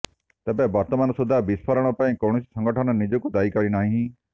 ତେବେ ବର୍ତ୍ତମାନ ସୁଦ୍ଧା ବିସ୍ଫୋରଣ ପାଇଁ କୌଣସି ସଂଗଠନ ନିଜକୁ ଦାୟୀ କରିନାହିଁ